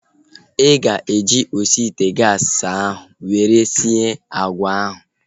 Ị ga-eji osi ite gaasi ahu were sie agwa ahu?